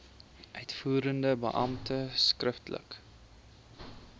uitvoerende beampte skriftelik